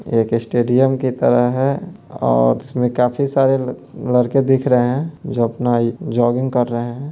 एक इस्टेडियम की तरह है | और उसमें काफी सारे लड़के दिख रहे हैं जो इ अपना जॉगिंग कर रहे हैं ।